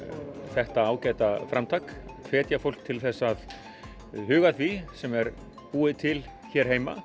þetta ágæta framtak hvetja fólk til þess að huga að því sem er búið til hér heima